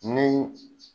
Ni